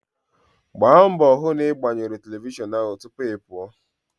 Gbaa mbọ hụ na ị gbanyụrụ telivishọn ahụ tupu ị pụọ!